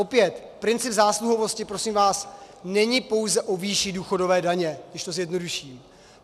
Opět, princip zásluhovosti, prosím vás, není pouze o výši důchodové daně, když to zjednoduším.